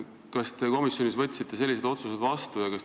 Kas te komisjonis võtsite sellised otsused vastu?